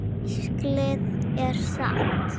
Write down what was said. Hvíslið er satt.